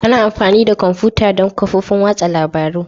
Ana amfani da kwamfuta don kafofin watsa labarun.